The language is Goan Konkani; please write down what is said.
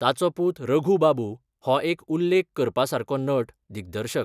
ताचो पूत रघु बाबू हो एक उल्लेख करपासारको नट, दिग्दर्शक.